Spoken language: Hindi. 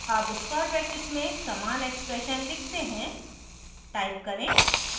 अब square brackets में समान expression लिखते हैं type करें: